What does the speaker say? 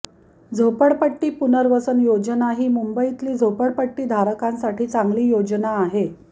झोपडपट्टी पुनर्वसन योजना ही मुंबईतील झोपडीधारकांसाठी चांगली योजना आहे